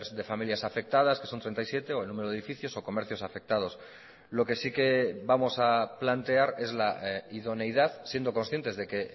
de familias afectadas que son treinta y siete o el número de edificios o comercios afectados lo que sí que vamos a plantear es la idoneidad siendo conscientes de que